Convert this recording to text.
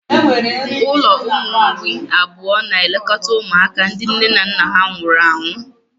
Ụlọ ụmụ mgbei abụọ na-elekọta ụmụaka ndị nne na nna nwụnahụrụ.